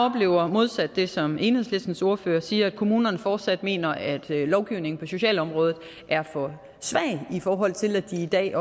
modsat det som enhedslistens ordfører siger at kommunerne fortsat mener at lovgivningen på socialområdet er for svag i forhold til at de i dag